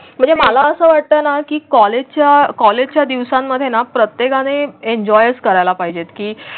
म्हणजे मला असं वाटतं ना की कॉलेजच्या कॉलेजच्या दिवसांमध्येना प्रत्येक आणि एन्जॉय करायला पाहिजेत की?